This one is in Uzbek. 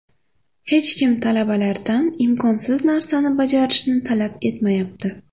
Hech kim talabalardan imkonsiz narsani bajarishni talab etmayapti.